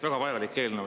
Väga vajalik eelnõu.